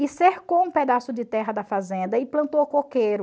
E cercou um pedaço de terra da fazenda e plantou coqueiro.